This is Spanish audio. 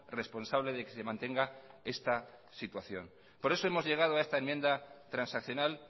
responsable de que se mantenga esta situación por eso hemos llegado a esta enmienda transaccional